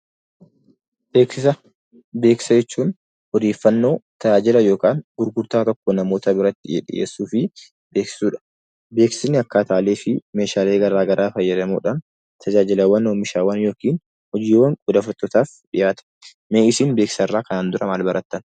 Beeksisa jechuun odeeffannoo, tajaajila yookaan gurgurtaa tokko namoota biratti dhiyeessuu fi beeksisuudha. Beeksisni akkaataalee fi meeshaalee garaa garaa fayyadamuudhaan tajaajilawwan oomishaman yookiin hojiiwwan odeeffattootaaf dhiyaatudha. Mee isin kanaan dura beeksisa irraa maal barattan?